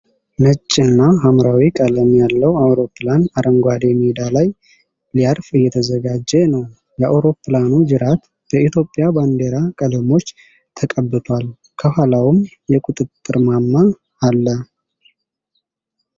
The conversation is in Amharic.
ነጭና ሐምራዊ ቀለም ያለው አውሮፕላን አረንጓዴ ሜዳ ላይ ሊያርፍ እየተዘጋጀ ነው። የአውሮፕላኑ ጅራት በኢትዮጵያ ባንዲራ ቀለሞች ተቀብቷል፤ ከኋላውም የቁጥጥር ማማ አለ።